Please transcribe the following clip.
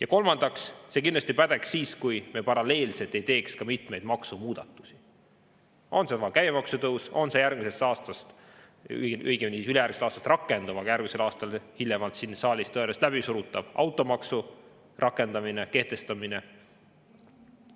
Ja kolmandaks, see kindlasti pädeks siis, kui me paralleelselt ei teeks ka mitmeid maksumuudatusi, olgu käibemaksu tõus, järgmisest aastast, õigemini ülejärgmisest aastast rakenduv, aga hiljemalt järgmisel aastal siin saalis tõenäoliselt läbisurutav automaksu rakendamine, kehtestamine,